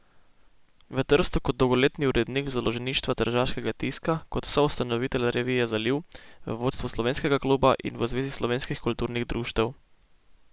V Trstu kot dolgoletni urednik Založništva tržaškega tiska, kot soustanovitelj revije Zaliv, v vodstvu Slovenskega kluba in v Zvezi slovenskih kulturnih društev.